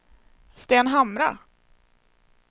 Stenhamra